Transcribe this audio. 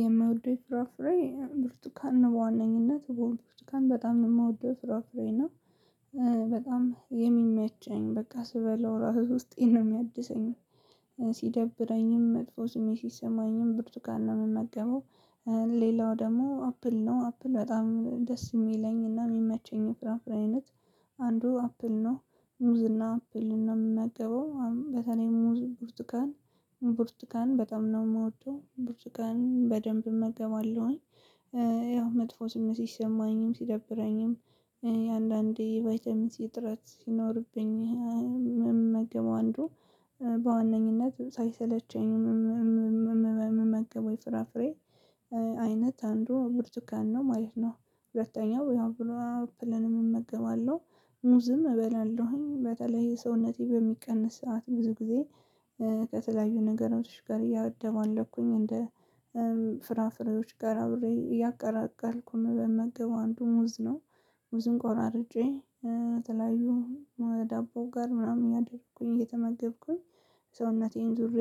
የምወደው ፍራፍሬ ብርቱካን ነው በዋነኝነት በእውነት ብርቱካን በጣም የምወደው ፍራፍሬ ነው እና በጣም የሚመቸኝ በቃ ስበለው ራሱ ውስጤ ነው የሚያድሰኝ ሲደብረኝም መጥፎ ስሜት ሲሰማኝም ብርቱካን ነው የምመገበው። ሌላው ደግሞ አፕል ነው አፕል በጣም ደስ የሚለኝና የሚመቸኝ የፍራፍሬ አይነት አንዱ አፕል ነው ሙዝና አፕልን ነው የምመገበው በተለይ ሙዝ ብርቱካን ብርቱካን በጣም ነው የምወደው ብርቱካን በደንብ እመገባለሁኝ። ያው መጥፎ ስሜት ሲሰማኝም ሲደብረኝም እኔ አንዳንዴ ቫይታሚን ሲ እጥራት ሲኖርብኝ የምመገበው አንዱ በዋነኝነት ሳይሰለቸኝ እምመገበው የፍራፍሬ አይነት አንዱ ብርቱካን ነው ማለት ነው። ሁለተኛው ያው አፕልን እመገባለሁ ሙዝም እበላለሁኝ በተለይ ሰውነቴ በሚቀንስ ሰዓት ብዙ ጊዜ። ከተለያዩ ነገሮች ጋር እያደባለኩኝ እንደ ፍራፍሬዎች ጋር አብሬ እያቀላቀልኩ እምመገበው አንዱ ሙዝ ነው። ሙዝን ቆራርጬ ከተለያዩ ዳቦ ጋር ምናምን ያደረኩኝ እየተመገብኩኝ ሰውነቴን ዙሬ